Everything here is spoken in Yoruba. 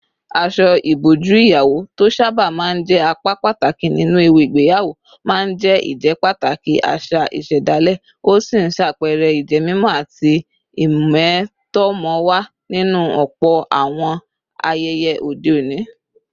Aṣọ ìbòjú ìyàwó, tó sábà máa ń jẹ́ apá pàtàkì nínú ẹ̀wù ìgbéyàwó, máa ń jẹ́ ìjẹ́pàtàkì àṣà ìṣẹ̀dálẹ̀, ó sì ń ṣàpẹẹrẹ ìjẹ́mímọ́ àti ìmẹ̀tọ́mọ̀wà nínú ọ̀pọ̀ àwọn ayẹyẹ òde òní.